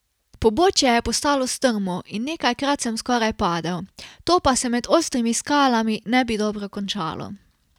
Pobočje je postalo strmo in nekajkrat sem skoraj padel, to pa se med ostrimi skalami ne bi dobro končalo.